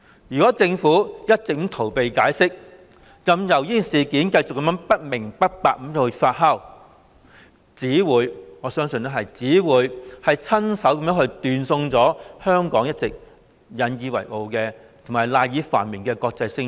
如果政府一直逃避解釋，任由事件繼續不明不白地發酵，我相信只會親手斷送香港一直引以為傲、賴以繁榮的國際聲譽。